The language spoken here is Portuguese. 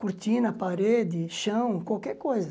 Cortina, parede, chão, qualquer coisa.